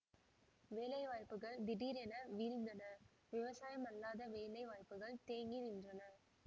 வேலை வாய்ப்புகள் திடீரென வீழ்ந்தன விவசாயமல்லாத வேலை வாய்ப்புகள் தேங்கி நின்றன